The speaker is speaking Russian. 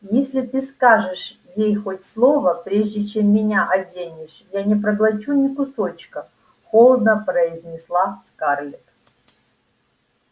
если ты скажешь ей хоть слово прежде чем меня оденешь я не проглочу ни кусочка холодно произнесла скарлетт